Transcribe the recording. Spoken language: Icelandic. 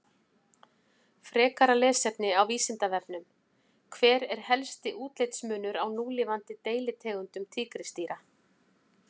Frekara lesefni á Vísindavefnum: Hver er helsti útlitsmunur á núlifandi deilitegundum tígrisdýra?